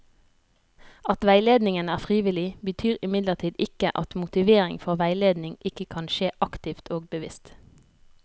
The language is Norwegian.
At veiledningen er frivillig, betyr imidlertid ikke at motivering for veiledning ikke kan skje aktivt og bevisst.